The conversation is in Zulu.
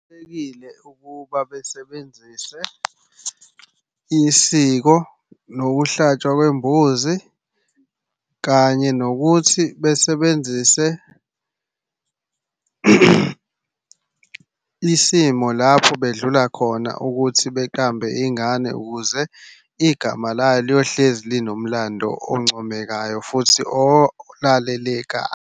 Kubalulekile ukuba besebenzise isiko nokuhlatshwa kwembuzi kanye nokuthi besebenzise isimo lapho bedlula khona ukuthi beqambe ingane ukuze igama layo liyohlezi linomlando oncomekayo futhi olalelekayo.